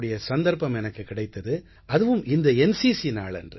கூடிய சந்தர்ப்பம் எனக்குக் கிடைத்தது அதுவும் இந்த என்சிசி நாளன்று